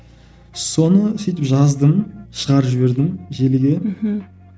соны сөйтіп жаздым шығарып жібердім желіге мхм